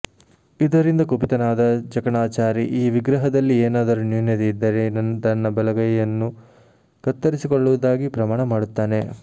ಇದರಿಂದ ಕುಪಿತನಾದ ಜಕಣಾಚಾರಿ ಈ ವಿಗ್ರಹದಲ್ಲಿ ಏನಾದರೂ ನ್ಯೂನತೆ ಇದ್ದರೆ ತನ್ನ ಬಲಗೈಯನ್ನು ಕತ್ತರಿಸಿಕೊಳ್ಳುವುದಾಗಿ ಪ್ರಮಾಣ ಮಾಡುತ್ತಾನೆ